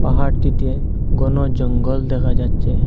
পাহাড়টিতে ঘন জঙ্গল দেখা যাচ্ছে।